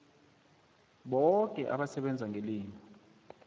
boke abasebenza ngelimi